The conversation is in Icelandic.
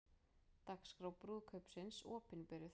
Dagskrá brúðkaupsins opinberuð